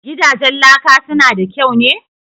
Gidajen laka su na da kyau ne?"